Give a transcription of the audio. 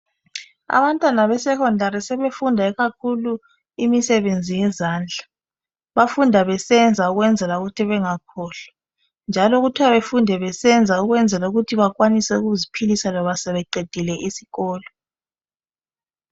Abantwana besekhondari sebefunda ikakhulu imisebenzi yezandla. Bafunda besenza ukwenzela ukuthi bengakhohlwa njalo kuthwa befunde besenza ukwenzela ukuthi bakwanise ukuziphilisa loba sebeqedile isikolo.